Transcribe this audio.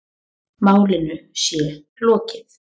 Málinu sé lokið.